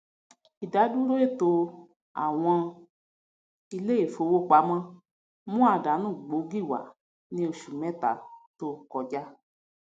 ìdádúró ètò àwọn ilé ìfowópamọ mú àdánù gbóògì wá ní oṣù méta tó kọ ja